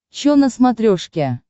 чо на смотрешке